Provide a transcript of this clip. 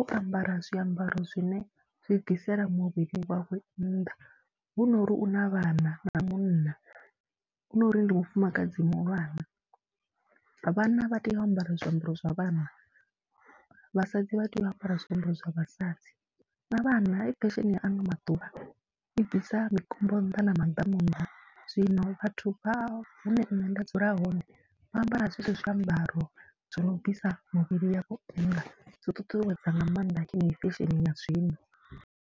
o ambara zwiambaro zwine zwi bvisela muvhili wawe nnḓa, hu nori u na vhana na munna, hu no uri ndi mufumakadzi muhulwane. Vhana vha tea u ambara zwiambaro zwa vhana, vhasadzi vha tea u ambara zwiambaro zwa vhasadzi. Na vhana, hei fesheni ya ano maḓuvha i bvisa mikombo nnḓa na maḓamu nnḓa, zwino vhathu vha hune nṋe nda dzula hone vha ambara zwezwo zwiambaro zwo no bvisa mivhili yavho, zwi ṱuṱuwedza nga maanḓa yeneyi fesheni ya zwino.